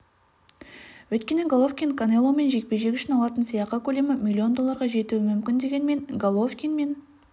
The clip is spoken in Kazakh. өйткені головкин канеломен жекпе-жек үшін алатын сыйақы көлемі миллион долларға жетуі мүмкін дегенмен головкин мен